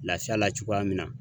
Lafiya la cogoya min na